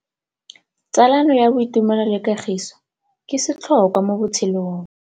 Tsalano ya boitumelo le kagiso ke setlhôkwa mo botshelong.